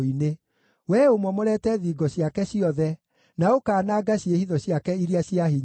Wee ũmomorete thingo ciake ciothe na ũkaananga ciĩhitho ciake iria cia hinya.